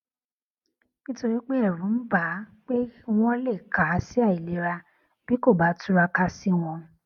nítorí pé èrù ń bà á pé wón lè kà á sí àìlera bí kò bá túraká sí wọn